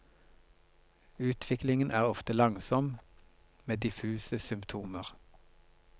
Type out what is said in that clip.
Utviklingen er ofte langsom med diffuse symptomer.